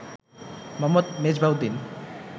Mohammad Mezbahuddin